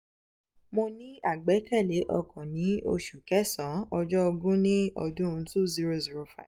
mo ní àgbékalẹ̀ ọkàn ní osu kesaan ojo ogun ni odun two zero zero five